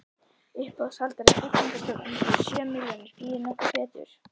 Uppboðshaldari: Byggðastofnun býður sjö milljónir, býður nokkur betur?